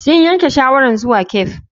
Sun yanke shawarar zuwa cafe.